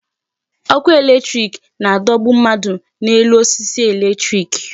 Ọkụ electric na-adọgbu mmadụ n'elu osisi electric.